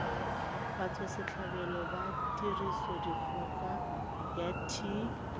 batswasetlhabelo ba tirisodikgoka ya t